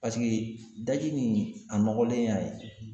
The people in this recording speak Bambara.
daji nin a nɔgɔlen y'a ye.